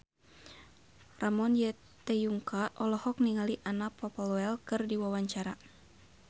Ramon T. Yungka olohok ningali Anna Popplewell keur diwawancara